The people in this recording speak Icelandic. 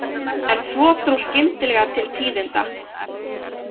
En svo dró skyndilega til tíðinda.